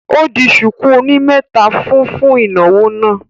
Ó di ṣùkú oní mẹ́ta fún un fún ìnáwó náà